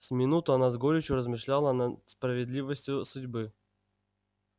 с минуту она с горечью размышляла над справедливостью судьбы